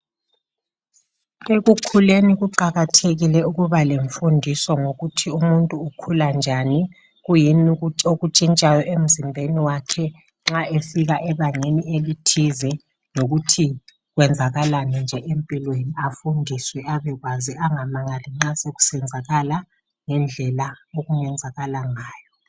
Ekukhuleni kuqakathekile ukuba lemfundiso ngokuthi umuntu ukhula njani kuyini okutshintshayoemzimbeni wakhe nxa efika ebangeni elithize lokuthi kwenzakalani nje empilweni, afundiswe abekwazi angamangali nxa sokusenzakala ngendlela okungenzakala ngayo.